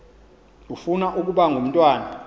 ufuna ukaba ngumntwana